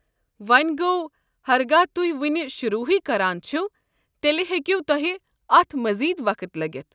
وۄنۍ گوٚو، ہرگاہ تُہۍ وٕنہِ شروٗع ہٕے كران چھِوٕ تیٚلہِ ہیٚکِوٕ تۄہہِ اتھ مزید وقت لٔگِتھ۔